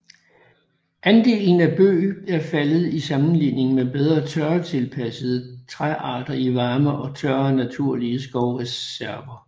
Andelen af bøg er faldet i sammenligning med bedre tørretilpassede træarter i varme og tørre naturlige skovreserver